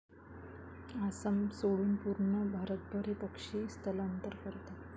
आसाम सोडून पूर्ण भारतभर हे पक्षी स्थलांतर करतात.